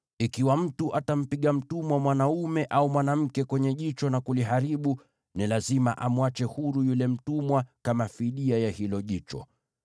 “Ikiwa mtu atampiga mtumwa mwanaume au mwanamke kwenye jicho na kuliharibu, ni lazima amwache huru yule mtumwa kama fidia ya hilo jicho.